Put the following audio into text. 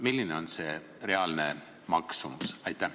Milline on reaalne maksumus?